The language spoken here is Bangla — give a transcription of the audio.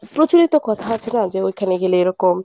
প্রচলিত কথা আছে না যে ঐখানে গেলে এরকম।